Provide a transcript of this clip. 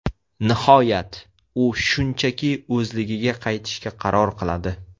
Nihoyat, u shunchaki o‘zligiga qaytishga qaror qiladi.